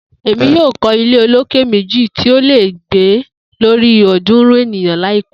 Emi yoo kọ ile oloke meji ti o le gbe lori ọdunrun eniyan laipẹ.